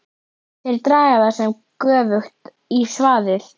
Þeir draga það sem er göfugt í svaðið.!